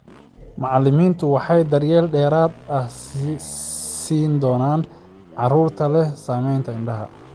Macallimiintu waxay daryeel dheeraad ah siin doonaan carruurta leh saamaynta indhaha.